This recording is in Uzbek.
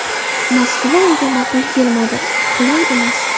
Moskva unga ma’qul kelmadi: qulay emas.